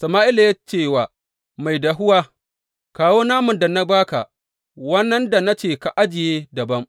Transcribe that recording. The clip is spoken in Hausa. Sama’ila ya ce wa mai dahuwa, Kawo naman da na ba ka, wannan da na ce ka ajiye dabam.